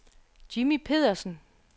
Jimmy Pedersen